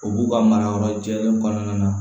O b'u ka marayɔrɔ jɛlen kɔnɔna na